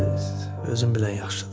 Özüm bilən yaxşıdır.